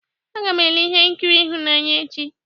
Aga m ele ihe nkiri ịhụnanya echi.